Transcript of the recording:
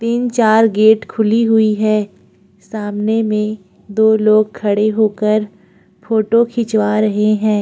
तीन-चार गेट खुली हुई है सामने में दो लोग खड़े होकर फोटो खिंचवा रहें हैं।